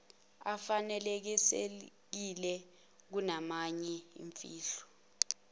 afanelekile kunamanye imfihlo